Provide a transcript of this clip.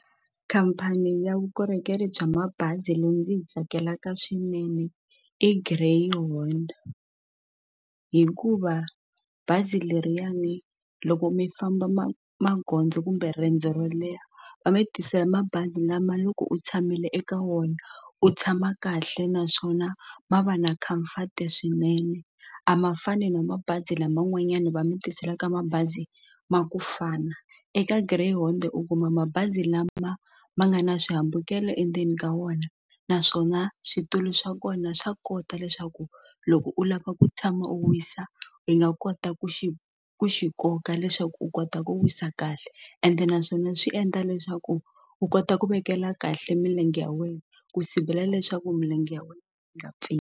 Khampani ya vukorhokeri bya mabazi leyi ndzi yi tsakelaka swinene i Greyhound hikuva bazi leriyani loko mi famba ma magondzo kumbe riendzo ro leha va mi tisela mabazi lama loko u tshamile eka wona u tshama kahle naswona ma va na khamfati swinene a ma fani na mabazi laman'wanyani va mi tiselaka mabazi ma kufana eka Greyhound u kuma mabazi lama ma nga na swihambukelo endzeni ka wona naswona switulu swa kona swa kota leswaku loko u lava ku tshama u wisa hi nga kota ku xi ku xi koka leswaku u kota ku wisa kahle ende naswona swi endla leswaku u kota ku vekela kahle milenge ya wena ku sivela leswaku milenge ya wena yi nga pfuni.